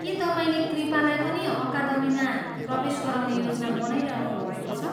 के तपाईँले कृपालाई पनि अकादमीमा प्रवेश गराउने योजना बनाइरहनु भएको छ?